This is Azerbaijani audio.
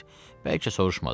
Bəlkə soruşmadı.